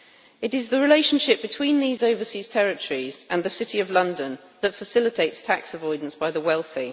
It is the relationship between these overseas territories and the City of London that facilitates tax avoidance by the wealthy.